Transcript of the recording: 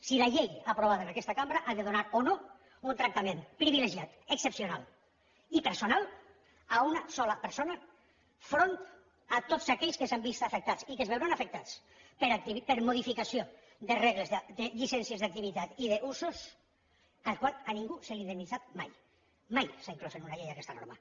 si la llei aprovada en aquesta cambra ha de donar o no un tractament privilegiat excepcional i personal a una sola persona al capdavant de tots aquells que s’han vist afectats i que es veuran afectats per modificació de regles de llicències d’activitat i d’usos per als quals a ningú s’ha indemnitzat mai mai s’ha inclòs en una llei aquesta norma